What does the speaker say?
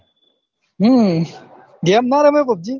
હમ game ના રમેં pubg